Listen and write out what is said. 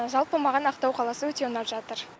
жалпы маған ақтау қаласы өте ұнап жатыр